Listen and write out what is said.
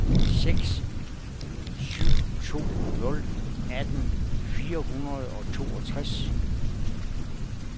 seks syv to nul atten fire hundrede og toogtres